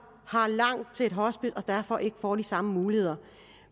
har langt til et hospice og derfor ikke får de samme muligheder